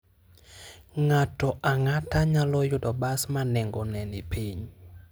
Ng'ato ang'ata nyalo yudo bas ma nengone ni piny.